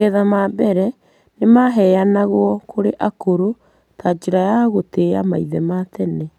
Magetha ma mbere nĩ maheanagwo kũrĩ akũrũ ta njĩra ya gũtĩa maithe ma tene.